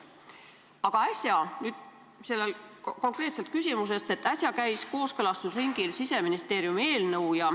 Aga äsja – lähen nüüd konkreetselt küsimuse juurde – käis kooskõlastusringil Siseministeeriumi eelnõu.